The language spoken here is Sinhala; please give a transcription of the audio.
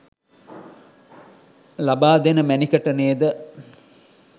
ලබා දෙන මැණිකට නේද?